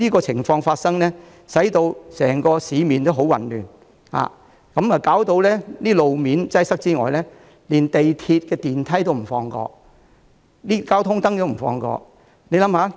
除了導致整個市面十分混亂，路面擠塞之餘，他們連港鐵電梯和交通燈也不放過。